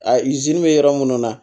A izini bɛ yɔrɔ minnu na